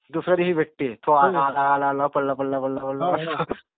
दुसऱ्या दिवशी भेटते. आला, आला, आला, आला, पडला, पडला, पडला, पडला.